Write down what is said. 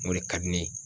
O de ka di ne ye